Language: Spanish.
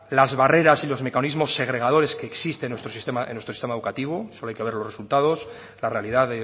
las barreras y los mecanismos segregadores que existen en nuestro sistema educativo solo hay que ver los resultados la realidad